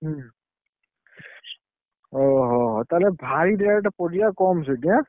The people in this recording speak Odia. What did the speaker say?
ହୁଁ, ଓହୋ ହୋ ହୋ ତାହେଲେ ପରିବା rate କମ୍ ସେଠି ଏଁ?